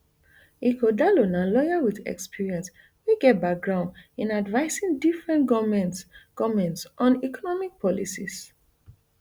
ighodalo na lawyer with experience wey get background in advising different govments govments on economic policies